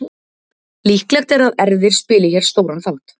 Líklegt er að erfðir spili hér stóran þátt.